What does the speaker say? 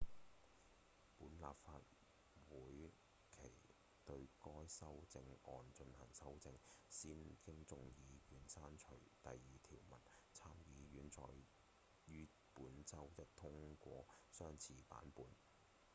本立法會期對該修正案進行修正先經眾議院刪除第二條文參議院再於本周一通過相似版本